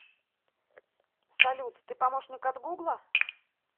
салют ты помощник от гугла